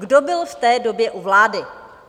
Kdo byl v té době u vlády?